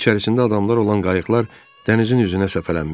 İçərisində adamlar olan qayıqlar dənizin üzünə səpələnmişdi.